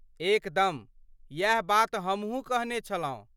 एकदम, इएह बात हमहूँ कहने छलहूँ।